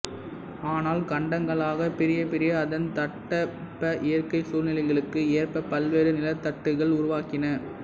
ஆனால் கண்டங்களாகப் பிரிய பிரிய அதன் தட்பவெப்ப இயற்கை சூழ்நிலைகளுக்கு ஏற்ப பல்வேறு நிலத்தட்டுக்கள் உருவாகின